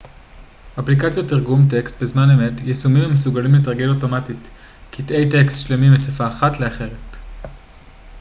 אפליקציות תרגום טקסט בזמן אמת יישומים המסוגלים לתרגם אוטומטית קטעי טקסט שלמים משפה אחת לאחרת